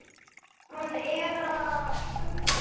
Hann er að föndra.